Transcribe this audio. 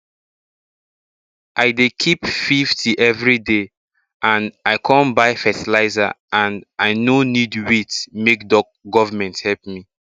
i dey keep 50 everyday and i con buy fertilizer and i no need wait make government help me